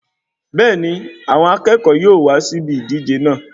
Bẹẹni, àwọn akẹ́kọ̀ọ́ yóò wá sí ìbi ìdíje náà